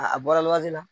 A bɔra wagati min na